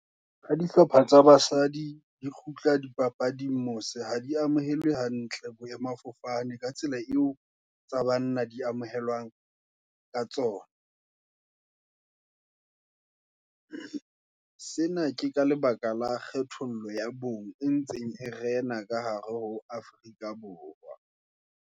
Ha dihlopha tsa basadi, di kgutla dipapading mose, ha di amohelwe hantle, boemafofane, ka tsela eo, tsa banna di amohelwang ka tsona. Sena ke ka lebaka la kgethollo ya bong, e ntseng e rena ka hare ho Afrika Borwa.